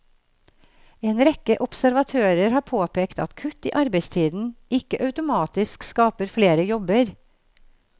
En rekke observatører har påpekt at kutt i arbeidstiden ikke automatisk skaper flere jobber.